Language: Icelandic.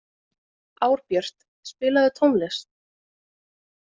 Árbjört, spilaðu tónlist.